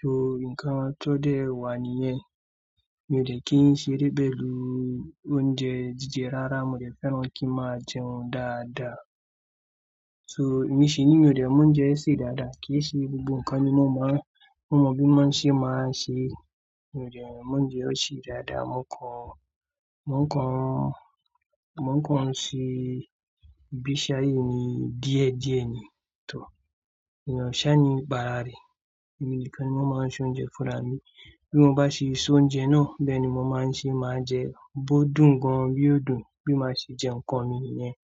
So nǹkan tó dẹ̀ wà nìyẹn, mi ò dẹ̀ kí n ṣe ré pẹ̀lu oúnjẹ jíjẹ rárá. Mo dẹ̀ fẹ́ràn kí ma jẹun dáadáa. So èmi ṣi ní mi ò dẹ̀ mo oúnjẹ se dáadáa. Kì í ṣe gbogbo nǹkan ni mo máa, mo mọ bí wọn ṣe máa ṣe. Mi ò dẹ̀ mo oúnjẹ ṣe dáadáa. Mọ̀ ń kàn, mọ̀ ń kàn, mọ̀ ń kàn ṣe ìgbésí ayé mí díẹ̀ díẹ̀ ni. Tò, ìyà ṣá ni, bààrà rẹ. Èmi nìkan ni wọ́n máa n so oúnjẹ fúnra mi. Bí mo bá ṣe so oúnjẹ náà, bẹ́ẹ̀ ni mo máa ń ṣe máa jẹ. Bo dùn gan bí ó dùn bí máa ṣe jẹ nǹkan mi nìyẹn.